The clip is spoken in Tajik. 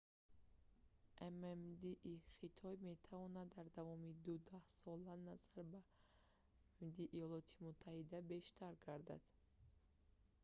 ммд-и хитой метавонад дар давоми ду даҳсола назар ба ммд-и иёлоти муттаҳида бештар гардад